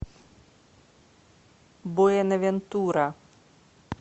буэнавентура